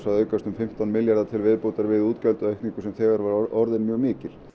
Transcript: að aukast um fimmtán milljarða til viðbótar við útgjaldaaukningu sem þegar var orðin mjög mikil